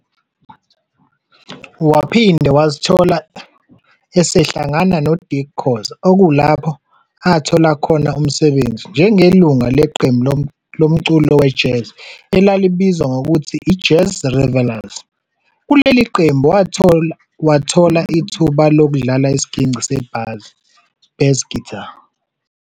Waphinde Wazithola esehlangana no Dick Khoza okulapho athola khona umsebenzi njengelungu leqembu loculo we-jazz elalibizwa ngokuthi i-"Jazz Revellers". Kuleli qembu wathola wathola ithuba lokudlala isigingci sebhazi, "bass guitar".